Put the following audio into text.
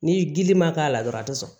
Ni gili ma k'a la dɔrɔn a ti sɔn